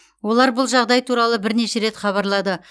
олар бұл жағдай туралы бірнеше рет хабарлады